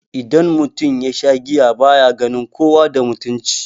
Idan mutum yasha giya baya ganin kowa da mutunci